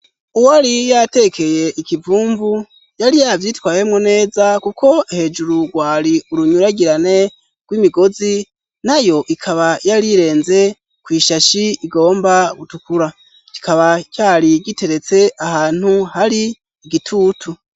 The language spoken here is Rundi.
Uwari yatekeye ikivumvu yari yabyitwayemo neza kuko hejuru rwari urunyuragirane rw'imigozi nayo ikaba yari irenze ku ishashi igomba gutukura kikaba cyari giteretse ahantu hari igitutu.